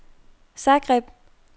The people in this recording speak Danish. Zagreb